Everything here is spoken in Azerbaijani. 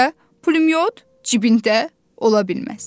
Pulyot cibində ola bilməz.